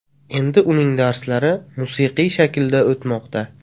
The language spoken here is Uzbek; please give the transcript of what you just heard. Endi uning darslari musiqiy shaklda o‘tmoqda.